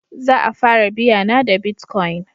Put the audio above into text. Za a fara biya na da bitcoin